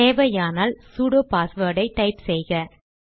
தேவையானால் sudo password type செய்க